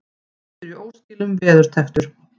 Hundur í óskilum veðurtepptur